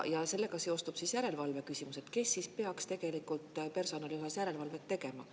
Ja sellega seostub järelevalve küsimus: kes siis peaks tegelikult personali puhul järelevalvet tegema?